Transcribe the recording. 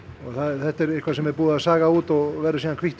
þetta er eitthvað sem búið er að saga út og verður síðan hvítt